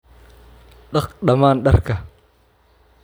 Dhaq dhammaan dharka.